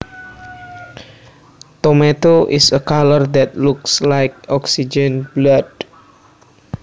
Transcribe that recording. Tomato is a color that looks like oxygened blood